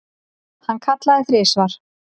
Hann kallaði þrisvar.